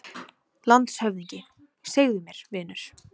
LANDSHÖFÐINGI: Segðu mér, vinur.